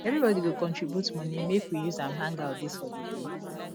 everybodi go contribute moni make we use am hangout dis holiday